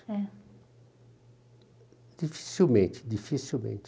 É. Dificilmente, dificilmente.